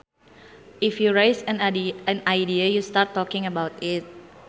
If you raise an idea you start talking about it